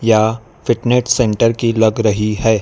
या fitness centre की लग रही है।